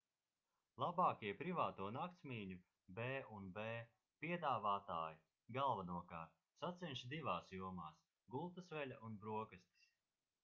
labākie privāto naktsmītņu b&b piedāvātāji galvenokārt sacenšas divās jomās – gultasveļa un brokastis